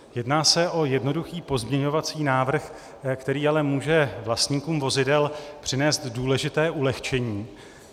Jedná se o jednoduchý pozměňovací návrh, který ale může vlastníkům vozidel přinést důležité ulehčení.